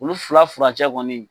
Olu fula furacɛ kɔni.